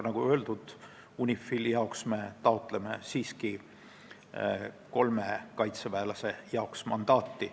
Nagu öeldud, me siiski taotleme UNIFIL-i jaoks kolmele kaitseväelasele mandaati.